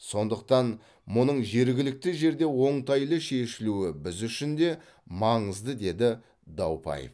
сондықтан мұның жергілікті жерде оңтайлы шешілуі біз үшін де маңызды деді даупаев